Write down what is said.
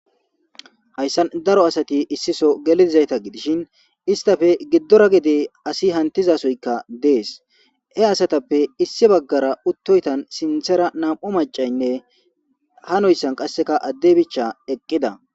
Haysan daro asati issi sohon geli dizayta gidishin istappe gidora gede asi hantizasoyka dees. He asatappe issi bagara uttoytan sinthara nam'u mac'anne hanoysan qase addey bicha eqida.